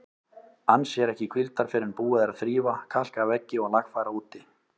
Ann sér ekki hvíldar fyrr en búið er að þrífa, kalka veggi og lagfæra úti.